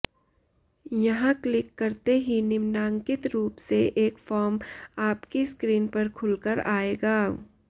यहाँ क्लिक करते ही निम्नांकित रूप से एक फॉर्म आपकी स्क्रीन पर खुलकर आएगा